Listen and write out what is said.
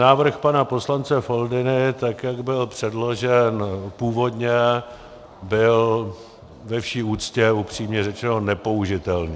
Návrh pana poslance Foldyny, tak jak byl předložen původně, byl ve vší úctě, upřímně řečeno, nepoužitelný.